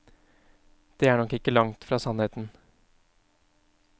Det er nok ikke langt fra sannheten.